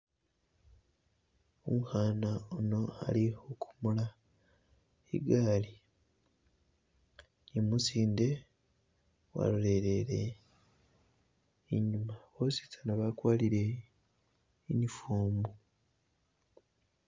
Umukhana uno ali khu komola igali ni umusinde walolelele inyuma, bosi tsana bakwarire uniform.